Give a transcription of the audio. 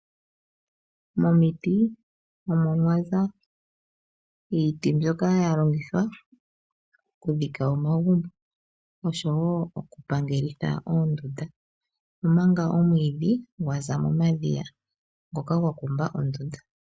Momiti omo mwaza iiti mbyoka ya longithwa oku dhika omagumbo oshowo oku pangelitha oondunda, omanga omwiidhi, gwaza mo madhiya ngoka gwa kumba ondunda.